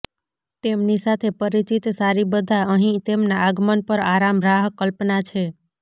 તેમની સાથે પરિચિત સારી બધા અહીં તેમના આગમન પર આરામ રાહ કલ્પના છે